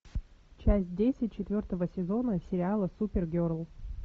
часть десять четвертого сезона сериала супер герл